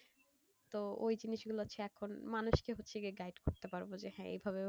তো ওই জিনিসগুলো হচ্ছে এখন মানুষকে হচ্ছে গিয়ে guide করতে পারবো যে হ্যাঁ এইভাবে এইভাবে,